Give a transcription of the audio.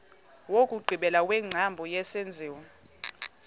wokugqibela wengcambu yesenziwa